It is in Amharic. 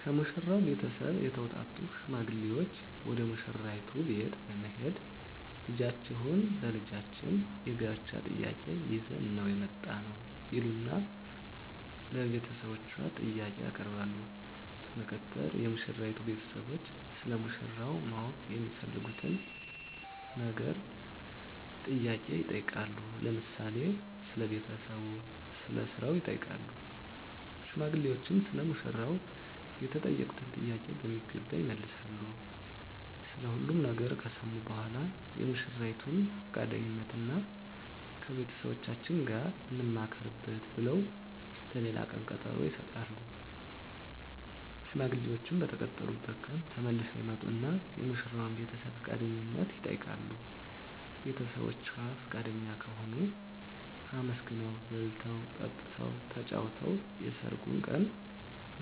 ከሙሽራው ቤተሰብ የተውጣጡ ሽማግሌዎች ወደ ሙሽራይቱ ቤት በመሄድ ልጃችሁን ለልጃችን የጋብቻ ጥያቄ ይዘን ነው የመጣነው ይሉና ለቤተሰቦቿ ጥያቄ ያቀርባሉ በመቀጠል የሙሽራይቱ ቤተሰቦች ስለ ሙሽራው ማወቅ የሚፈልጉትን ነገር ጥያቄ ይጠይቃሉ ለምሳሌ ስለ ቤተሰቡ ስለ ስራው ይጠይቃሉ ሽማግሌዎችም ሰለ ሙሽራው የተጠየቁትን ጥያቄ በሚገባ ይመልሳሉ ስለ ሁሉም ነገር ከሰሙ በኃላ የሙሽራይቱን ፍቃደኝነት እና ከቤተሰቦቻችን ጋር እንማከርበት ብለው ለሌላ ቀን ቀጠሮ ይሰጣሉ። ሽማግሌዎችም በተቀጠሩበት ቀን ተመልሰው ይመጡና የሙሽራዋን ቤተሰብ ፍቃደኝነት ይጠይቃሉ ቤተሰቦቿ ፍቃደኛ ከሆኑ አመስግነው በልተው ጠጥተው ተጫውተው የሰርጉ ቀን